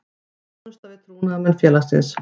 Þjónusta við trúnaðarmenn félagsins.